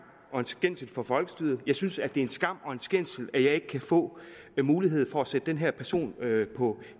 og en skændsel for folkestyret jeg synes at det er en skam og en skændsel at jeg ikke kan få mulighed for at sætte den her person på